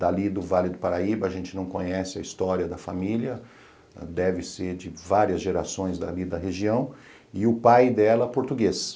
dali do Vale do Paraíba, a gente não conhece a história da família, deve ser de várias gerações dali da região, e o pai dela português.